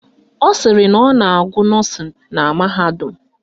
Ọ sịrị na ọ ga-agụ nọ́ọ̀sịn na mahadum